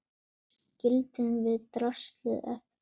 Þar skildum við draslið eftir.